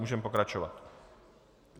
Můžeme pokračovat.